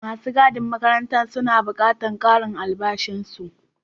Masu gadin makarantan suna buƙatan ƙarin albashin su.